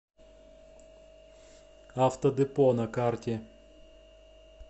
автодепо на карте